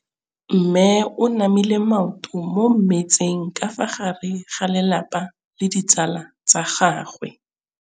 Mme o namile maoto mo mmetseng ka fa gare ga lelapa le ditsala tsa gagwe.